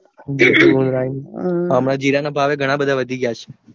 હા હમણાં ઘણાબધા વધી છે